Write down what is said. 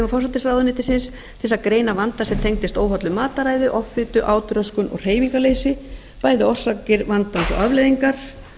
forsætisráðuneytisins til að greina vanda sem tengist óhollu matarræði offitu átröskun og hreyfingarleysi bæði orsakir vandans og afleiðingar